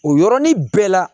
O yɔrɔnin bɛɛ la